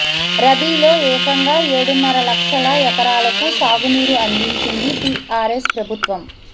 రబీలో ఏకంగా ఏడున్నర లక్షల ఎకరాలకు సాగునీరు అందించింది టీఆర్ఎస్ ప్రభుత్వం